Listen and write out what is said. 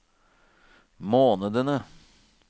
månedene